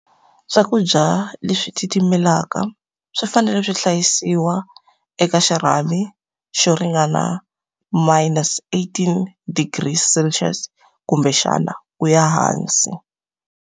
Swakudya leswi titimelaka, swi fanele swi hlayisiwa eka xirhami xo ringana minus eighteen degrees Celsius, kumbexana ku ya hansi.